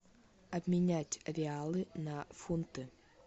обменять реалы на фунты